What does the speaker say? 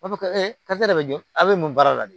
A b'a fɔ karisa de bɛ jɔ a bɛ mun baara la de